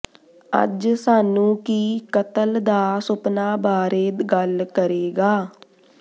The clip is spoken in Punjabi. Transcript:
ਅੱਜ ਸਾਨੂੰ ਕੀ ਕਤਲ ਦਾ ਸੁਪਨਾ ਬਾਰੇ ਗੱਲ ਕਰੇਗਾ